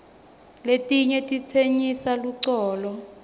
letinyg titsenyisa luculo